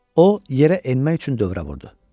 O yerə enmək üçün dövrə vurdu.